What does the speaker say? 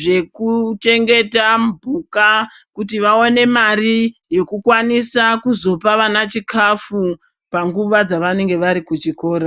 zvekuchengeta mphuka kuita kuti vawane mari yekukwanisa kuzopa vana chikafu panguva dzavanenge vari kuchikora.